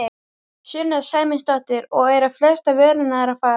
Sunna Sæmundsdóttir: Og eru flestar vörurnar að fara?